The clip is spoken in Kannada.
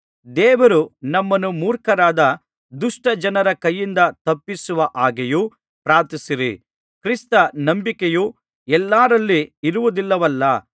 ದೇವರು ನಮ್ಮನ್ನು ಮೂರ್ಖರಾದ ದುಷ್ಟಜನರ ಕೈಯಿಂದ ತಪ್ಪಿಸುವ ಹಾಗೆಯೂ ಪ್ರಾರ್ಥಿಸಿರಿ ಕ್ರಿಸ್ತ ನಂಬಿಕೆಯು ಎಲ್ಲರಲ್ಲಿ ಇರುವುದಿಲ್ಲವಲ್ಲಾ